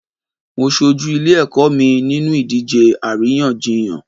Mo ṣojú ilé ẹ̀kọ́ mi nínú ìdíje àríyànjiyàn.